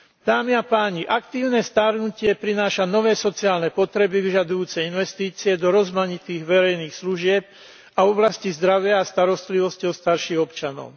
Dámy a páni, aktívne starnutie prináša nové sociálne potreby vyžadujúce investície do rozmanitých verejných služieb a oblasti zdravia a starostlivosti o starších občanov.